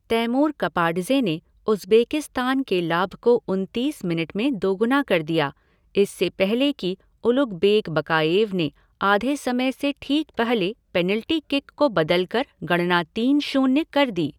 Taimur Kapadze ने Uzbekistan के लाभ को उनतीस मिनट में दोगुना कर दिया, इससे पहले कि उलुगबेक बकाएव ने आधे समय से ठीक पहले पेनल्टी किक को बदलकर गणना तीन शून्य कर दी।